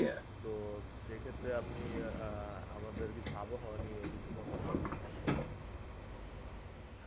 তো সেক্ষেত্রে আপনি অ্যাঁ আমাদের কিছু আবহাওয়া নিয়ে কিছু কথা বলেন.